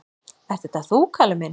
"""Ert þetta þú, Kalli minn?"""